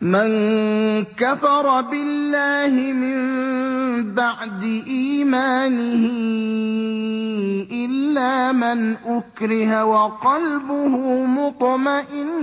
مَن كَفَرَ بِاللَّهِ مِن بَعْدِ إِيمَانِهِ إِلَّا مَنْ أُكْرِهَ وَقَلْبُهُ مُطْمَئِنٌّ